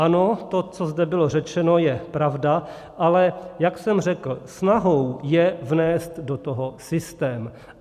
Ano, to, co zde bylo řečeno, je pravda, ale jak jsem řekl, snahou je vnést do toho systém.